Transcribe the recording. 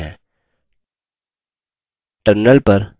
terminal पर type करते हैं